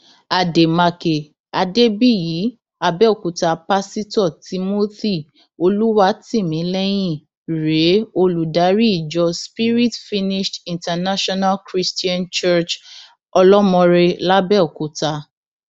àdèmàkè adébíyì àbẹòkúta pásítọ timothy olùwátìmílẹyìn rèé olùdarí ìjọ spirit finished international christian church olọmọọre làbẹọkúta